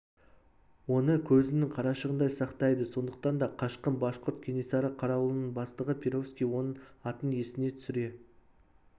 оны көзінің қарашығындай сақтайды сондықтан да қашқын башқұрт кенесары қарауылының бастығы перовский оның атын есіне түсіре